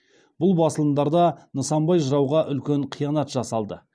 бұл басылымдарда нысанбай жырауға үлкен қиянат жасалды